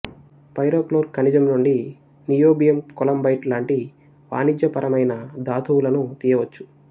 pyrochlore ఖనిజం నుండి niobium columbite లాంటి వాణిజ్యపరమయిన ధాతువులను తీయవచ్చు